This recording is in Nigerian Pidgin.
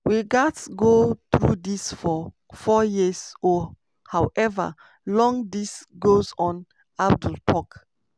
"we gatz go through dis for four years or however long dis goes on" abdul tok.